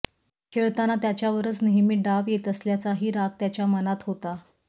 खेळताना त्याच्यावरच नेहमी डाव येत असल्याचाही राग त्याच्या मनात होता